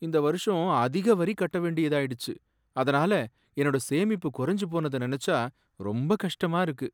இந்த வருஷம் அதிக வரி கட்ட வேண்டியதாயிடுச்சு, அதனால என்னோட சேமிப்பு குறைஞ்சுபோனத நெனச்சா ரொம்ப கஷ்டமா இருக்கு.